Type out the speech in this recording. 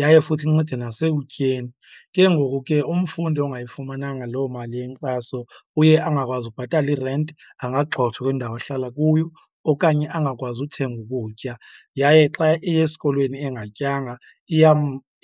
yaye futhi incede nasekutyeni. Ke ngoku ke umfundi ongayifumenanga loo mali yenkxaso uye angakwazi ukubhatala irenti, angagxothwa kwindawo ahlala kuyo okanye angakwazi uthenga ukutya. Yaye xa eya esikolweni engatyanga